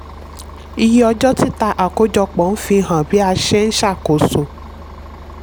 iye ọjọ́ títà àkójọpọ̀ ń fi hàn bí a ṣe ń ṣàkóso.